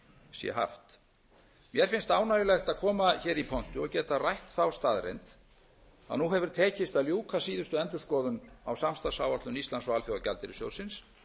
sé haft mér finnst ánægjulegt að koma hér í pontu og geta rætt þá staðreynd að nú hefur tekist að ljúka síðustu endurskoðun á samstarfsáætlun íslands og alþjóðagjaldeyrissjóðsins